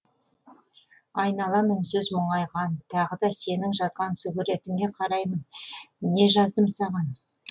айналам үнсіз мұңайған тағы да сенің жазған сүгіретіңе қараймын не жаздым саған